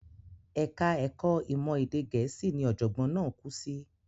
Ẹ̀ka ẹ̀kọ́ ìmọ̀ èdè Gẹ̀ẹ́sì ni ọ̀jọ̀gbọ́n náà kú sí.